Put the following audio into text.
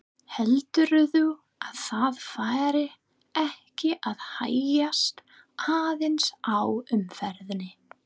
Heldurðu að það fari ekki að hægjast aðeins á umferðinni?